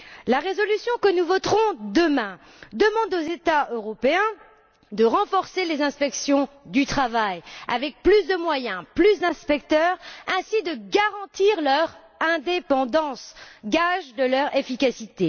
La résolution que nous voterons demain demande aux États européens de renforcer les inspections du travail avec plus de moyens, plus d'inspecteurs, ainsi que de garantir leur indépendance, gage de leur efficacité.